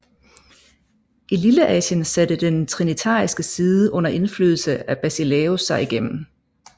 I Lilleasien satte den trinitariske side under indflydelse af Basileios sig igennem